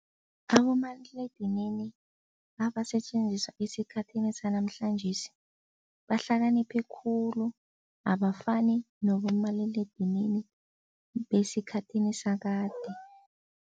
Abomaliledinini abasetjenziswa esikhathini sanamhlanjesi bahlakaniphe khulu, abafani nabomaliledinini besikhathini sakade.